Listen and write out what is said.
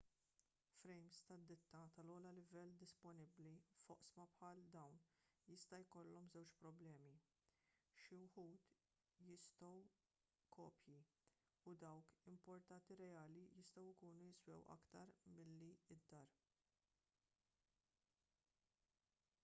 frejms tad-ditta tal-ogħla livell disponibbli f'oqsma bħal dawn jista' jkollhom żewġ problemi xi wħud jistgħu kopji u dawk importati reali jistgħu jkunu jiswew aktar milli d-dar